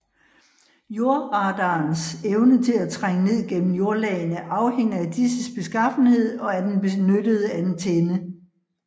Jordradarens evne til at trænge ned gennem jordlagene afhænger af disses beskaffenhed og af den benyttede antenne